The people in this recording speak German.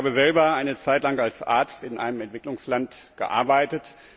Ich habe selber eine Zeit lang als Arzt in einem Entwicklungsland gearbeitet.